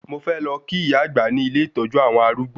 Mo fẹ́ lọ kí ìyá-àgbà ní ilé ìtọ́jú àwọn arúgbó